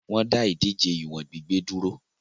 Wọ́n dá ìdíje ìwọ̀n gbígbé dúró.